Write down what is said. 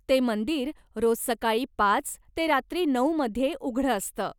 ते मंदिर रोज सकाळी पाच ते रात्री नऊ मध्ये उघडं असतं.